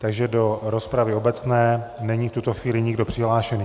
Takže do rozpravy obecné není v tuto chvíli nikdo přihlášený.